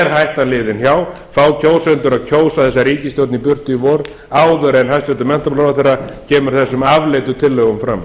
hættan liðin hjá fá kjósendur að kjósa þessa ríkisstjórn í burtu í vor áður en hæstvirtur menntamálaráðherra kemur þessum afleitu tillögum fram